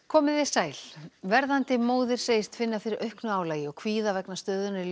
komiði sæl verðandi móðir segist finna fyrir auknu álagi og kvíða vegna stöðunnar í